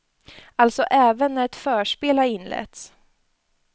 Alltså även när ett förspel har inletts.